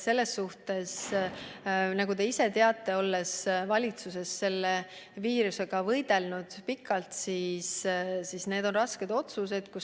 Aga nagu te ise teate, olles valitsuses selle viirusega kaua võidelnud, need on rasked otsused.